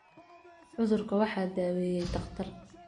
Cudurka waxaa daweeyay dhakhtar